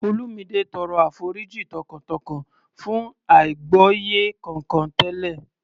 Olumide tọrọ àforíjì tọkàntọkàn fún àìgbọ́yé kankan tẹ́lẹ̀